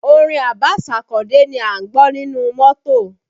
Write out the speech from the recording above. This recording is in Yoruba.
Orin Abbas Akande ni a ń gbọ́ nínú mọ́tò